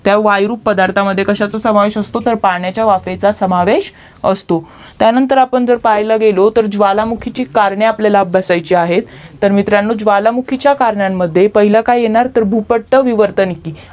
त्या वायु रूप पदार्था मध्ये कश्याचा समावेश असतो तर पाण्याच्या वाफेचा समावेश असतो त्यानंतर आपण जर पाहायला गेल तर ज्वललामुखीची कारणे आपल्याला अभ्यासायची आहेत तर मित्रांनो ज्वालामुखीच्या करणांमद्धे पहिलं काय येणार तर भूपट्ट विवर्तनेतील